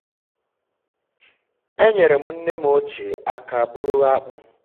um e nyere m nne m ochie aka buru akpu.